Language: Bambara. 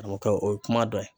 O kɛ o ye kuma dɔ ye